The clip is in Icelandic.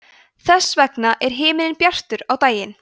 þess vegna er himinninn bjartur á daginn